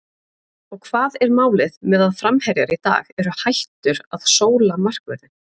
Og hvað er málið með að framherjar í dag eru hættur að sóla markvörðinn?